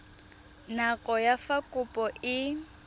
nako ya fa kopo e